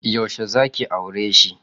Yaushe zaki aureshi?